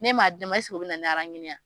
Ne m'a di ne ma ɛsek'o bɛ na ni ye a ?